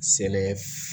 Sele